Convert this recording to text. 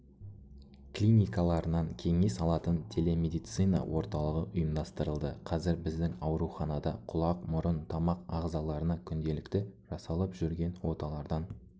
клиникаларынан кеңес алатын телемедицина орталығы ұйымдастырылды қазір біздің ауруханада құлақ мұрын тамақ ағзаларына күнделікті жасалып жүрген оталардан